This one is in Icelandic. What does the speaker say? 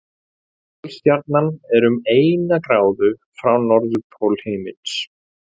Pólstjarnan er um eina gráðu frá norðurpól himins.